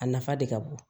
A nafa de ka bon